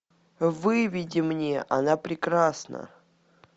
выведи мне она прекрасна